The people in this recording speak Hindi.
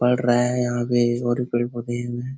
पढ़ रहा है यहाँ पे एक ओर पेड़-पौधे हीं हुए हैं।